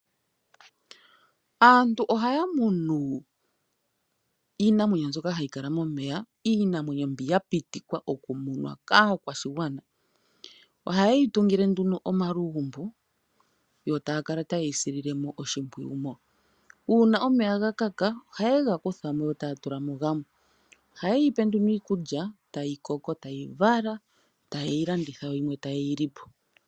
Aantu ohaya munu iinamwenyo mbyoka hayi kala momeya ,iinamwenyo mbi ya pitikwa oku munwa kaakwashigwana .Ohayeyi tungile omalugumbo uuna omeya ga kaka ta yega kuthamo taya tulamo gamwe. Oha yeyipe nduno iikulya tayi koko tayi vala, ta yeyi landitha yo yimwe ta yeyi lipo.